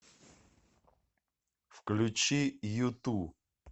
включи юту